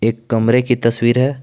एक कमरे की तस्वीर है।